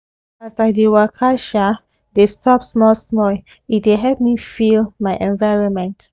as i de waka um de stop small small e de help me feel my environment